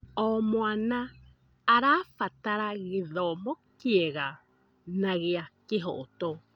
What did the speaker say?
O mwana arabatara gĩthomo kĩega na gĩa kĩhooto.